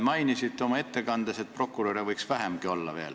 Mainisite oma ettekandes, et prokuröre võiks veel vähemgi olla.